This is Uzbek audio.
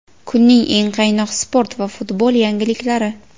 Kunning eng qaynoq sport va futbol yangiliklari:.